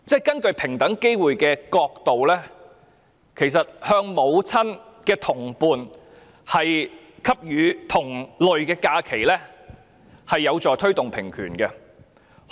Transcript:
根據平機會的角度，向母親的同伴給予同類假期，其實是有助推動平權的。